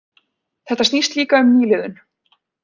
Þetta snýst líka um nýliðun